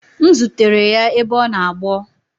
M zutere ya ebe ọ na agbọ